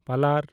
ᱯᱟᱞᱟᱨ